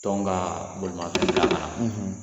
Tɔn ka bolimanfɛn bila ka